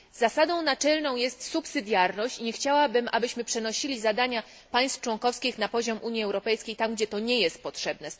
Zasadą naczelną jest subsydiarność i nie chciałabym, abyśmy przenosili zadania państw członkowskich na poziom Unii Europejskiej tam, gdzie to nie jest potrzebne.